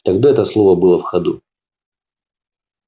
тогда это слово было в ходу